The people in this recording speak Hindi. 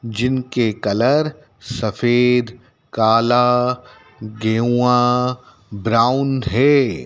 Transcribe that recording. जिनके कलर सफेद काला गेवुआ ब्राऊन हैं।